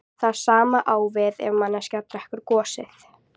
Það sama á við ef manneskja drekkur gosið.